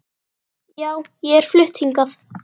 Já, ég er flutt hingað.